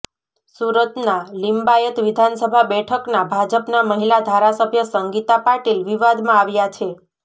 સુરતના લીંબાયત વિધાનસભા બેઠકના ભાજપના મહિલા ધારાસભ્ય સંગીતા પાટીલ વિવાદમાં આવ્યા છે